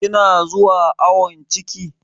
Kina zuwa awon ciki?